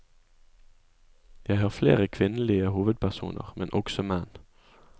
Jeg har flere kvinnelige hovedpersoner, men også menn.